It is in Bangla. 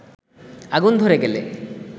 আগুন ধরে গেলে